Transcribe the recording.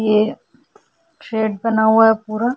ये शेड बना हुआ है पूरा --